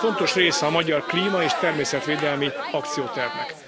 Ez fontos része a magyar klíma és természetvédelmi akciótervnek.